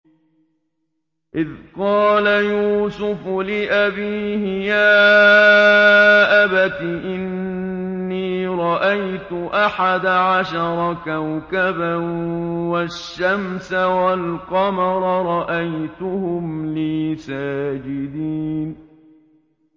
إِذْ قَالَ يُوسُفُ لِأَبِيهِ يَا أَبَتِ إِنِّي رَأَيْتُ أَحَدَ عَشَرَ كَوْكَبًا وَالشَّمْسَ وَالْقَمَرَ رَأَيْتُهُمْ لِي سَاجِدِينَ